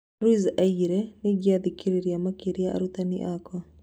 Ruiz oigĩte "nĩingĩa thikĩrĩirie makĩria arutani akwa"